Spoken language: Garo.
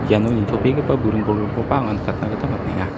iano nitobegipa buring bolgrimkoba anga nikatna gita man·enga.